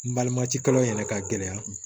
N balimacilan in yɛrɛ ka gɛlɛ